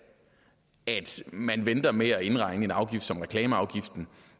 at man venter med at indregne en afgift som reklameafgiften